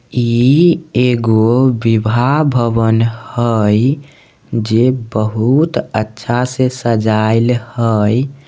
इ एगो विवाह भवन हई जे बहुत अच्छा से सजाइल हई।